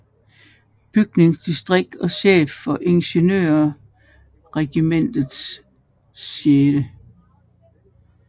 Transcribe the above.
Bygningsdistrikt og chef for Ingeniørregimentets 6